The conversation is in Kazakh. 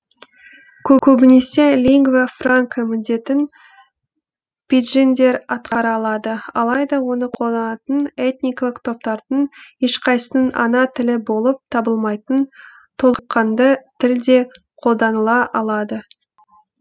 көбінесе лингва франка міндетін пиджиндер атқара алады алайда оны қолданатын этникалық топтардың ешқайсысының ана тілі болып табылмайтын толыққанды тіл де қолданыла алады